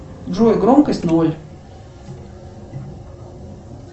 джой громкость ноль